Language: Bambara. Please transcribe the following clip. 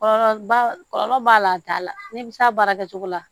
Kɔlɔlɔ ba kɔlɔlɔ b'a la a t'a la n'i bɛ s'a baarakɛ cogo la